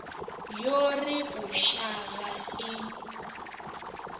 yo ri u shavha i